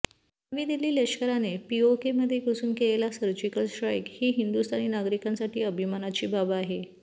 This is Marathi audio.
नवी दिल्ली लष्कराने पीओकेमध्ये घुसून केलेला सर्जिकल स्ट्राईक ही हिंदुस्थानी नागरिकांसाठी अभिमानाची बाब आहे